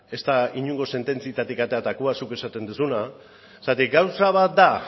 ez da inongo sententziatik ateratakoa zuk esaten duzuna zergatik gauza bat da